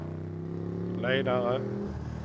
ledare